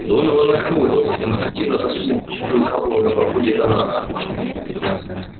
донован нахмурился и демонстративно засунул в пустую кобуру на боку детонатор